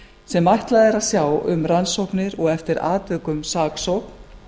sem ætlað er að sjá um rannsóknir og eftir atvikum saksókn